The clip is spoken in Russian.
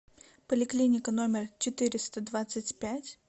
поликлиника номер четыреста двадцать пять